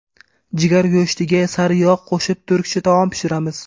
Jigar go‘shtiga sariyog‘ qo‘shib turkcha taom pishiramiz.